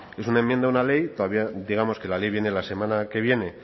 es una enmienda una ley todavía digamos que la ley viene la semana que viene